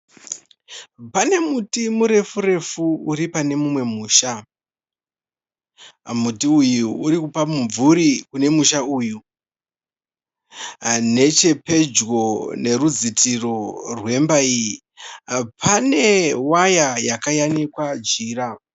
Pane muti murefu refu uri pane imwe imba. Muti uyu uri kupa mumvuri kune musha uyu. Nechepedyo nerudzitirwo rwemba iyi pane waya yakayanikwa jira.